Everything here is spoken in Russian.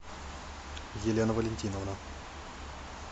елена валентиновна